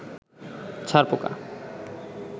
ছার পোকা